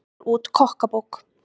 Gefur út kokkabók